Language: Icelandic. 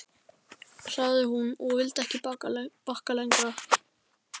sagði hún, og vildi ekki bakka lengra.